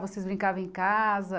Vocês brincavam em casa?